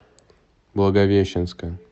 благовещенска